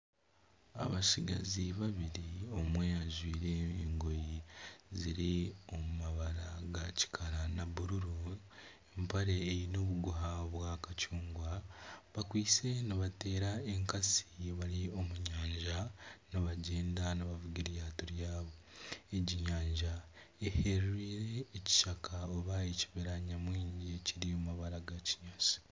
Abatsigazi babiri omwe ajwaire engoye ziri omu mabara ga kikara na bururu. Empare eine obuguha bwa kacungwa bakwaitse nibateera enkasi bari omu nyanja nibagyenda nibavuga eryato ryabo. Egi nyanja eyehereire ekishaka nari ekibira nyamwingi kiri omu mabara ga kinyaatsi.